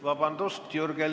Vabandust!